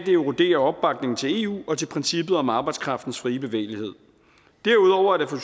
erodere opbakningen til eu og til princippet om arbejdskraftens frie bevægelighed derudover er det for